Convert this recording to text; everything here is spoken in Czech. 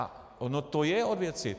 A ono to je od věci.